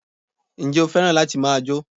Njé o fẹ́ràn láti ma jó?